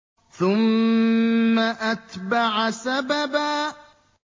ثُمَّ أَتْبَعَ سَبَبًا